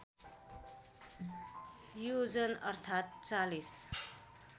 योजन अर्थात ४०